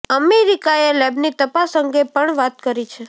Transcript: અમેરિકાએ લેબની તપાસ અંગે પણ વાત કરી છે